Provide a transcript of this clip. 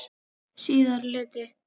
Síðari hluti